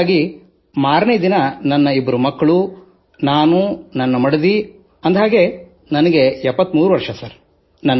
ಹಾಗಾಗಿ ಮಾರನೆ ದಿನ ನನ್ನ ಇಬ್ಬರು ಮಕ್ಕಳು ನಾನು ನನ್ನ ಮಡದಿ ಅಂದ ಹಾಗೆ ನಾನು 73 ವರ್ಷದವನಿದ್ದೇನೆ